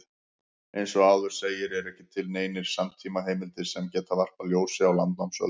Eins og áður segir eru ekki til neinar samtímaheimildir sem geta varpað ljósi á landnámsöld.